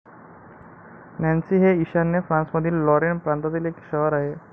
Nancy हे ईशान्य फ्रान्समधील लॉरेन प्रांतातील एक शहर आहे.